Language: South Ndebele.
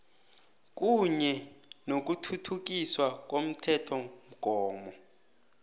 kunye nokuthuthukiswa komthethomgomo